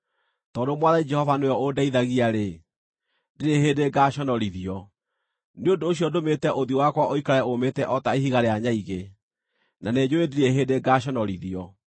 Tondũ Mwathani Jehova nĩwe ũndeithagia-rĩ, ndirĩ hĩndĩ ngaaconorithio. Nĩ ũndũ ũcio ndũmĩte ũthiũ wakwa ũikare ũũmĩte o ta ihiga rĩa nyaigĩ, na nĩnjũũĩ ndirĩ hĩndĩ ngaaconorithio.